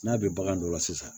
N'a bɛ bagan dɔ la sisan